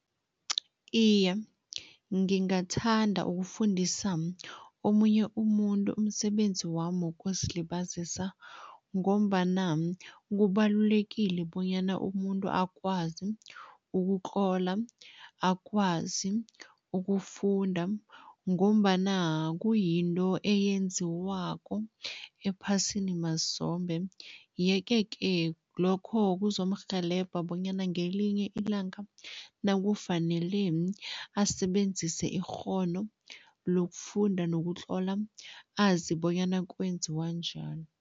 Iye, ngingathanda ukufundisa omunye umuntu umsebenzi wami wokuzilibazisa ngombana kubalulekile bonyana umuntu akwazi ukutlola, akwazi ukufunda ngombana kuyinto eyenziwako ephasini mazombe yeke-ke lokho kuzomrhelebha bonyana ngelinye ilanga nakufanele asebenzise ikghono lokufunda nokutlola, azi bonyana kwenziwa njani.